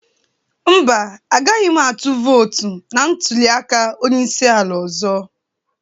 Mba, agaghị m votu na ntuli aka onye isi ala ọzọ